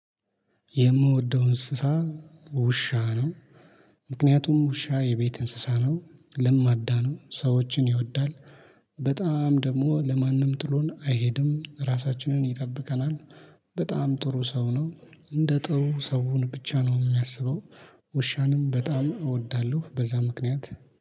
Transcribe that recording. የምወደው እንስሳ ውሻ ነው። ምክንያቱም ውሻ የቤት እንስሳ ነው ለማዳ ነው ሰዎችን ይወዳል በጣም ደግሞ ለማንም ጥሎን አይሄድም ራሳችንን ይጠብቀናል። በጣም ጥሩ ሰው ነው እንደ ጥሩ ሰውን ብቻ ነው የሚያስበው። ውሻንም በጣም እወዳለሁ በዛ ምክንያት